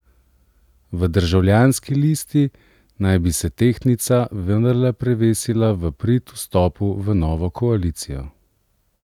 V Državljanski listi naj bi se tehtnica vendarle prevesila v prid vstopu v novo koalicijo.